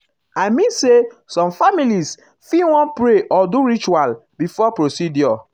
i mean say some families fit fit wan pray or do ritual before procedure.